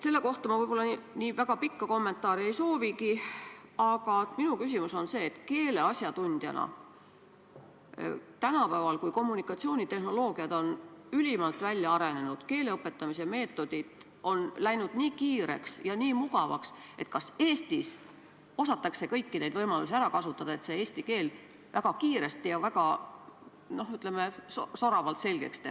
Selle kohta ma võib-olla nii väga pikka kommentaari ei soovigi, aga minu küsimus on järgmine: öelge keeleasjatundjana, kas tänapäeval, kui kommunikatsioonitehnoloogia on ülimalt arenenud ning keele õpetamise meetodid on läinud nii kiireks ja mugavaks, osatakse Eestis kõiki neid võimalusi ära kasutada, et eesti keel väga kiiresti ja väga, ütleme, soravalt selgeks teha.